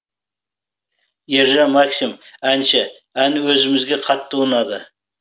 ержан максим әнші ән өзімізге қатты ұнады